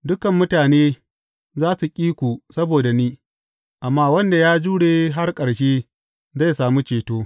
Dukan mutane za su ƙi ku saboda ni, amma wanda ya jure har ƙarshe zai sami ceto.